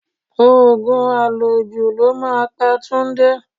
Òògùn àlòjù ló máa pa Túndé